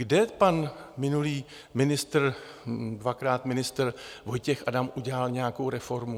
Kde pan minulý ministr, dvakrát ministr Vojtěch Adam, udělal nějakou reformu?